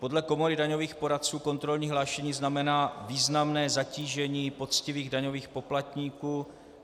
Podle Komory daňových poradců kontrolní hlášení znamená významné zatížení poctivých daňových poplatníků.